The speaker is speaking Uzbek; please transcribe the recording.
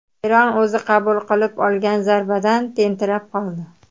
Eron o‘zi qabul qilib olgan zarbadan tentirab qoldi.